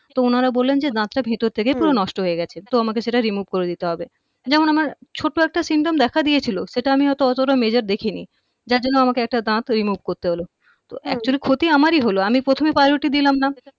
তো উনারা বললেন যে দাতটা ভিতর থেকে নষ্ট হয়ে গেছে তো আমাকে সেটা remove করে দিতে হবে যেমন আমার ছোট্ট একটা symptom দেখা দিয়েছিল সেটা আমি হয়তো অতটা major দেখিনি যার জন্য আমাকে একটা দাত remove করতে হলো তো actually ক্ষতি আমারই হলো আমি প্রথমে priority দিলামনা